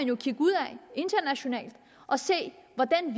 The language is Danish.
jo kigge ud og se hvordan